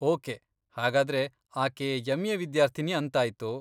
Okay, ಹಾಗಾದ್ರೆ ಆಕೆ MA. ವಿದ್ಯಾರ್ಥಿನಿ ಅಂತಾಯ್ತು.